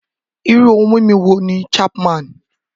Irú ohun mímu wo ni Chapman?